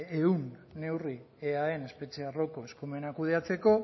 ehun neurri eaen espetxe arloko eskumena kudeatzeko